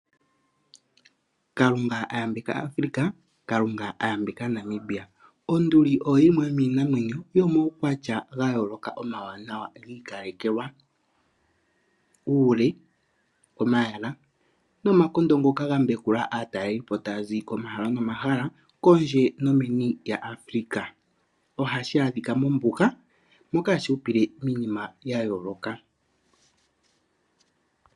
Kalunga a yambeka Afrika, kalunga a yambeka Namibia. Onduli oyo yimwe yomiinamwenyo yomuukwatya gayooloka omawanawa giikalekelwa. Uule, omayala nomakondo ngoka gambekula aatalelipo taya zi komahala nomahala, kondje nomeni lyaAfrika, ohashi adhika mombuga moka hashi hupile miinima ya yooloka.